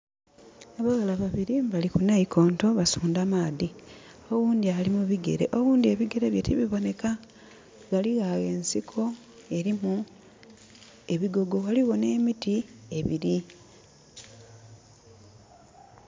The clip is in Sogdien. Abaghala babili bali ku naikonto basundha maadhi. Oghundhi ali mu bigere, oghundhi ebigere bye tibibonheka. Ghaligho agho ensiko elimu ebigogo. Ghaligho nh'emiti ebili.